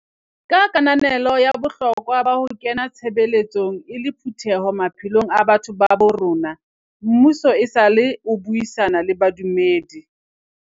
Ka kananelo ya bohlokwa ba ho kena tshebeletsong e le phutheho maphelong a batho ba bo rona, mmuso esale o buisana le badumedi.